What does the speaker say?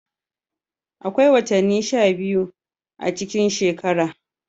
Akwai watanni sha biyu a cikin shekara.